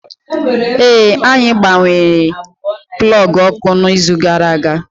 Ee, anyị gbanwere plọọgụ ọkụ n'izu gara aga